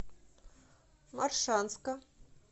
моршанска